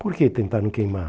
Por que tentaram queimar?